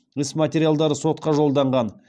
іс материалдары сотқа жолданған